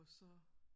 Og så